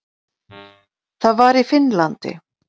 Það var í Finnlandi.